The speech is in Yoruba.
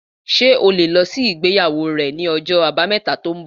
Ṣé o lè lọ sí ibi ìgbéyàwó rẹ ní ọjọ́ àbámẹ̀ta tó ń bọ̀